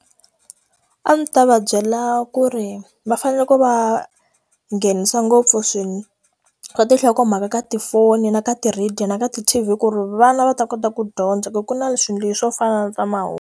A ndzi ta va byela ku ri va fanele ku va nghenisa ngopfu ka tinhokomhaka ka tifoni na ka ti-radio na ka ti T_V ku ri vana va ta kota ku dyondza ku ku na leswi swo fana na swa mahungu.